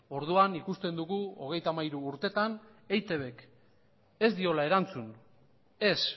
orduan ikusten dugu hogeita hamairu urtetan eitbk ez diola erantzun ez